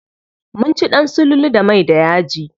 Mun ci ɗan sululu da mai da yaji.